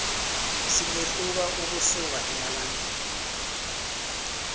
singehluka ukusuka emalangeni